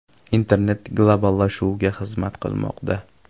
Internet globallashuvga xizmat qilmoqda.